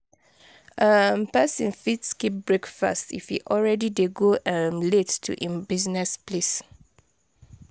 um persin fit skip breakfast if e already de go um late to im buisiness place